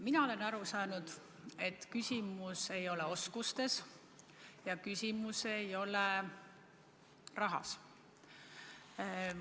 Mina olen aru saanud, et küsimus ei ole oskustes ja küsimus ei ole rahas.